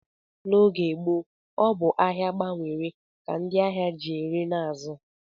N'oge gboo, ọ bụ ahịa gbanwere ka ndị ahịa ji ere na azụ